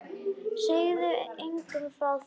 Segðu engum frá því!